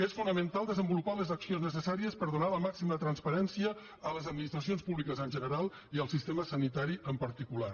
és fonamental desenvolupar les accions necessàries per donar la màxima transparència a les administracions públiques en general i al sistema sanitari en particular